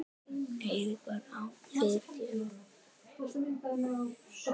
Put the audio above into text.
Eiríkur á Fitjum.